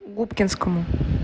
губкинскому